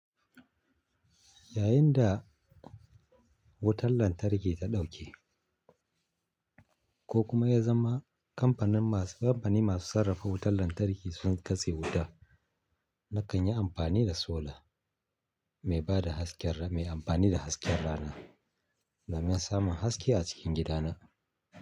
Yayin da wutar lantarki ta dauke kokuma ya zama kampanin masu sarrafa wutar lantarki sun katse wuta nakanyi amfani da solar mai amfani da hasken rana domin samun haske a cikin gida na.